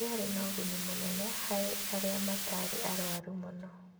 Ndĩarĩ na ũguni mũnene harĩ arĩa matarĩ arwaru mũno